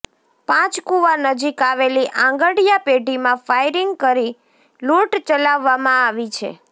પાંચકૂવા નજીક આવેલી આંગડિયા પેઢીમાં ફાયરિંગ કરી લૂંટ ચલાવવામાં આવી છે